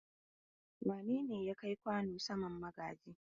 Wane ne ya kai kwano saman benen magaji?